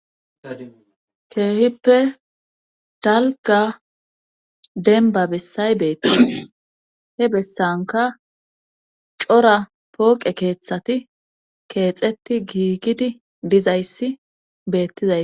keehippe dalga denba bessay beettis he bessanka cora pooqe keeththati keexetti giigidi dizayssi beettizay